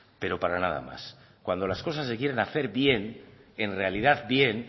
pero para nada más cuando las cosas se quieren hacer bien en realidad bien